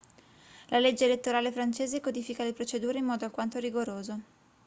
la legge elettorale francese codifica le procedure in modo alquanto rigoroso